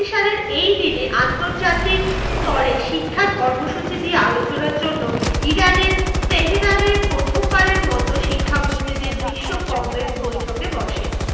সালের এইদিনে, আন্তর্জাতিক স্তরে শিক্ষার কর্মসূচি দিয়ে আলোচনার জন্য ইরানের তেহেরানে প্রথমবারের মতো শিক্ষামন্ত্রীদের বিশ্ব কংগ্রেস বৈঠকে বসে।